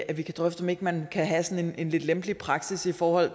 at vi kan drøfte om ikke man kan have sådan en lidt lempelig praksis for